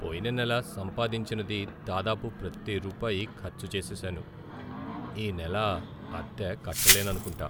పోయిన నెల సంపాదించినది దాదాపు ప్రతి రూపాయి ఖర్చు చేసేసాను. ఈ నెల అద్దె కట్టలేననుకుంటా.